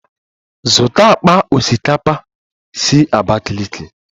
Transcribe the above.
Zụta akpa osikapa si Abakiliki!